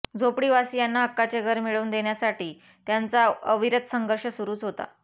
झोपडीवासीयांना हक्काचे घर मिळवून देण्यासाठी त्यांचा अविरत संघर्ष सुरूच होता